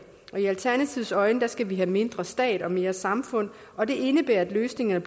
i alternativets øjne skal vi have mindre stat og mere samfund og det indebærer at løsningerne